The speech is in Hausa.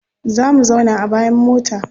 Za mu zauna a bayan mota.